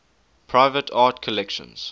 private art collections